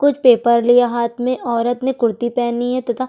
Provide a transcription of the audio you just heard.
कुछ पेपर लिए हाथ में औरत ने कुर्ती पहनी है तथा --